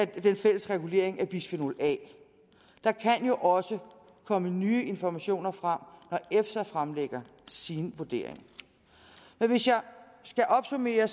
den fælles regulering af bisfenol a der kan jo også komme nye informationer frem når efsa fremlægger sin vurdering hvis jeg skal opsummere